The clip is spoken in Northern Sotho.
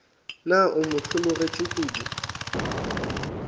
na o mo hlologetše kodu